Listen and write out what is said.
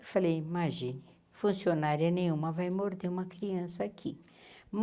Eu falei, imagine, funcionária nenhuma, vai morrer uma criança aqui.